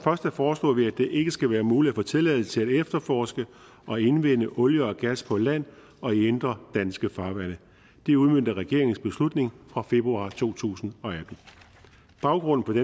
foreslår vi at det ikke skal være muligt at få tilladelse til at efterforske og indvinde olie og gas på land og indre danske farvande det udmønter regeringens beslutning fra februar to tusind og atten baggrunden